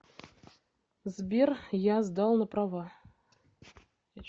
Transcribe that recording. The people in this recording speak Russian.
сбер я сдал на права